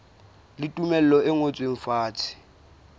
le tumello e ngotsweng fatshe